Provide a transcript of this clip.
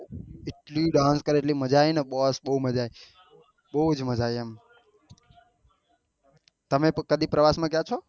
એટલી dance કરી ને એટલી મજા આયીને બહુ મજા આયી બહુ મજા આયી એમ તમે કદી પ્રવાસ માં ગયી છો